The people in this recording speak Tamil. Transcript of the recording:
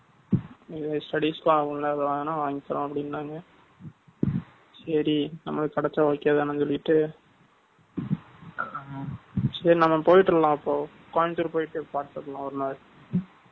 இது studies க்கு வாங்குனா, வாங்கி தர்றோம், அப்படின்னாங்க. சரி, நம்மளுக்கு கிடைச்சா, okay தானே சொல்லிட்டு, சரி, நம்ம போயிட்டறலாம், அப்போ. கோயம்புத்தூர் போயிட்டு, பார்த்த வாங்கீட்டு வரலாம் ஒரு நாள்